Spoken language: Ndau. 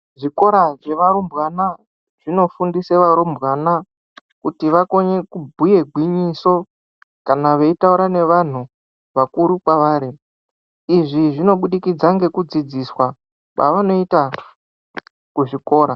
Zvikora zvevarumbwana zvinofundisa varumbwana kuti vakone kubhuye gwinyiso kana veitaura nevantu vakuru kwavari izvi zvinobudikidzwa nekudzidziswa kwavanoita kuzvikora.